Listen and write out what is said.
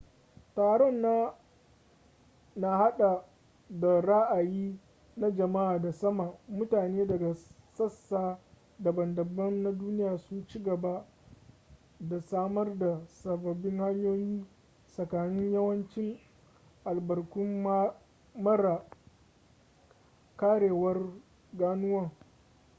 taron na hada da raayi na jamaa da sama mutane daga sassa daban-daban na duniya sun ci gaba da samar da sababin hanyoyi tsakanin yawancin albarkun mara karewar ganuwan